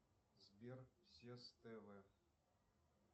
сбер сес тв